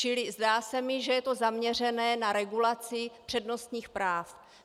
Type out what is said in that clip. Čili zdá se mi, že je to zaměřené na regulaci přednostních práv.